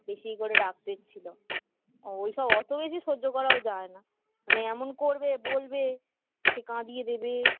বেশি ই করে রাগ পেট ছিল ওই সব অত বেশি সহ্য করাও যায় না মানে এমন করবে বলবে সে কাঁদিয়ে দেবে